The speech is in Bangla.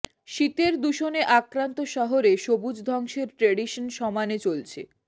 শীতের দূষণে আক্রান্ত শহরে সবুজ ধ্বংসের ট্র্যাডিশন সমানে চলছে